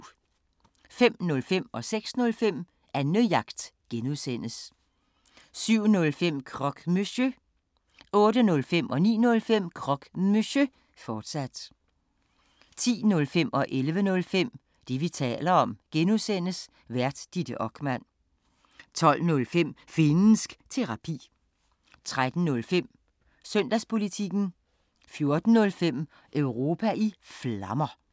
05:05: Annejagt (G) 06:05: Annejagt (G) 07:05: Croque Monsieur 08:05: Croque Monsieur, fortsat 09:05: Croque Monsieur, fortsat 10:05: Det, vi taler om (G) Vært: Ditte Okman 11:05: Det, vi taler om (G) Vært: Ditte Okman 12:05: Finnsk Terapi 13:05: Søndagspolitikken 14:05: Europa i Flammer